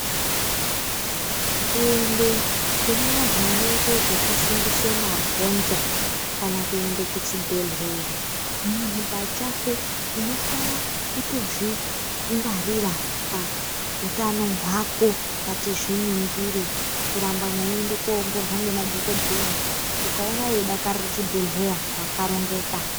Kuende kune anhu anoite zvekusimbise mabhonzo kana kuende kuchibhedhleya ,munhu pachako unofana kutozvingwarira pautano hwako. Ngatizviningire kuramba mweiende koongororwa ngemadhokodheya. Ukaona weidakarire chibhedhleya, wakarongeka.